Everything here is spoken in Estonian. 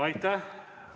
Aitäh!